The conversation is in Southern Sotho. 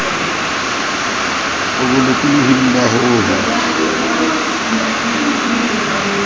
o bolokolohing ba ho ho